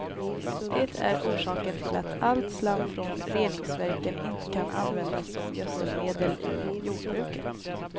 Det är orsaken till att allt slam från reningsverken inte kan användas som gödselmedel i jordbruket.